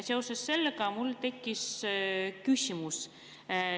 Seoses sellega mul tekkis küsimus.